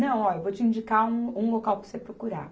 Não, ó, eu vou te indicar um, um local para você procurar.